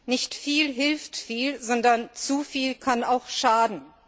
Nicht viel hilft viel, sondern zu viel kann auch schaden.